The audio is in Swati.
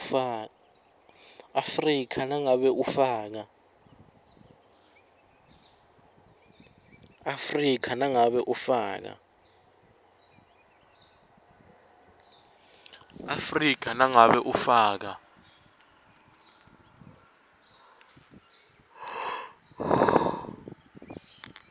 afrika nangabe ufaka